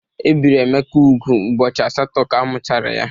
Ebiri Emeka úgwù ụbọchị asatọ ka amuchara ya.